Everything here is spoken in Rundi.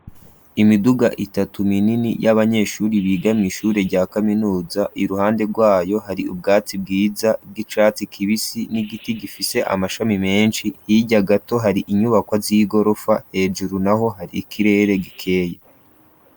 Imiduga itatu minini y'abanyeshuri biga mw'ishure rya kaminuza, iruhande rw'ayo hari ubwatsi bwiza bw'icatsi kibisi n'igiti gifise amashami menshi, hirya gato hari inyubakwa z'igorofa, hejuru naho hari ikirere gikeye.